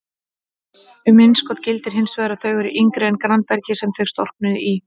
Um innskot gildir hins vegar að þau eru yngri en grannbergið sem þau storknuðu í.